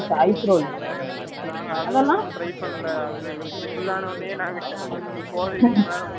நாங்க அதெல்லாம் try பண்ணல. எங்களுக்கு இது full ஆனவுடனே நாங்க, போறதுக்கு மேல முடியாதுன்னு சொல்லிட்டு,